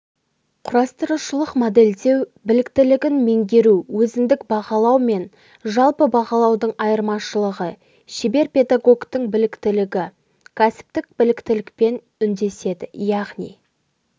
құрастырушылық-моделдеу біліктілігін меңгеру өзіндік бағалау мен жалпы бағалаудың айырмашылығы шебер педагогтің біліктілігі кәсіптік біліктілікпен үндеседі яғни